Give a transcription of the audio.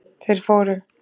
Þeir fóru